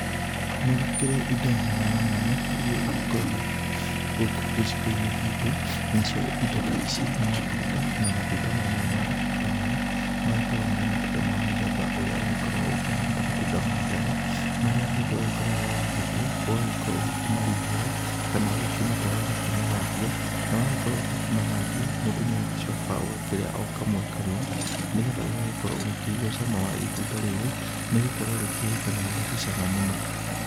Nĩ gũkĩrĩ indo mwanya mwanya iria igĩkũraga gũkũ gĩcigo-inĩ gitũ, nacio indo ta ici nĩ matunda, na matunda mamwe ta maya, magĩkoragwo marĩ matunda ma mũthemba ũrĩa ũgĩkoragwo ũkĩhana ta matunda ma ndare, marĩa mũndũ agĩkoragwo agĩgĩtua, ũgagĩkorwo ũkĩmarihũra kana ũgĩkĩmatwara ũgakĩmathambia, na wagĩkorwo ũkĩmathambia, mũndũ nĩ agĩcokaga ũgakĩrĩa o kamwe kamwe, nĩgetha ũgagĩkorwo ũkĩigua cama wa itunda rĩrĩ, nĩ gũkorwo rĩkĩrĩkanaga rĩrĩ cama mũno.